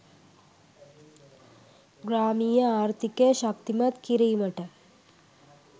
ග්‍රාමීය ආර්ථිකය ශක්තිමත් කිරීමට